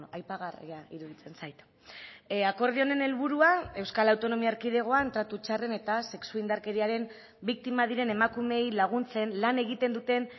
aipagarria iruditzen zait akordio honen helburua euskal autonomia erkidegoan tratu txarren eta sexu indarkeriaren biktima diren emakumeei laguntzen lan egiten duten